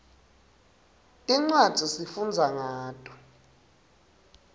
tincwadzi sifundza ngato